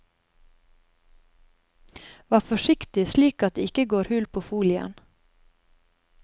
Vær forsiktig slik at det ikke går hull på folien.